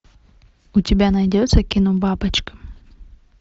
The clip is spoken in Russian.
у тебя найдется кино бабочка